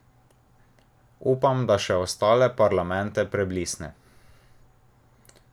Upam, da še ostale parlamente preblisne!